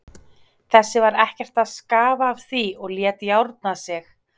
Þessi var ekkert að skafa af því og lét járna sig.